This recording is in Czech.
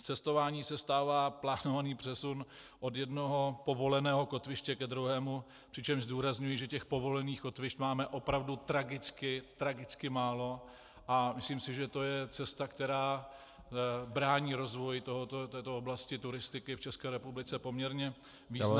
Z cestování se stává plánovaný přesun od jednoho povoleného kotviště ke druhému, přičemž zdůrazňuji, že těch povolených kotvišť máme opravdu tragicky, tragicky málo, a myslím si, že to je cesta, která brání rozvoji této oblasti turistiky v České republice poměrně významně.